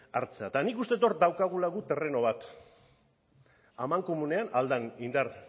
hartzea eta nik uste dut hor daukagula guk terreno bat amankomunean ahal den indar